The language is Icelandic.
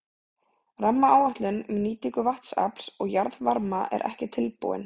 Rammaáætlun um nýtingu vatnsafls og jarðvarma er ekki tilbúin.